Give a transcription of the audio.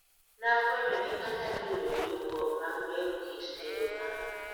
Nafwenyo ni anyalo yudo viungo mag bero kit tedo mara.